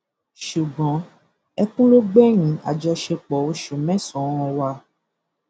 ṣùgbọn ẹkùn ló gbẹyìn àjọṣepọ oṣù mẹsànán wa